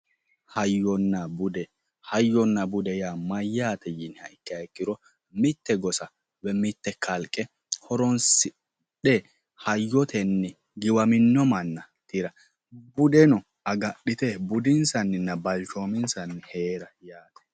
Hayyonna bude hayyonna bude yaa mayyaate yini ikkiha ikkiro mitte gosa woyi mitte kalqe horoonsidhe hayyotenni giwaminno manna tira budeno agadhite budinsanninna balchoominsanni heerate yaate.